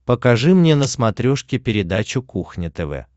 покажи мне на смотрешке передачу кухня тв